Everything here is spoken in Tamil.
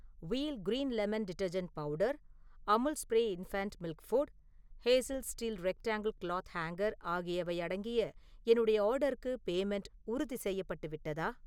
வீல் க்ரின் லெமன் டிடர்ஜென்ட் தூள், Amul spray infant milk food, Hazel steel rectangle cloth hanger ஆகியவை அடங்கிய என்னுடைய ஆர்டர்க்கு பேமெண்ட்‌ உறுதிசெய்யப்பட்டு விட்டதா?